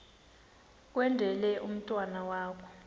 kwendele umntwana wakho